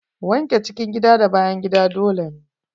Wanke cikin gida da bayan gida dole ne.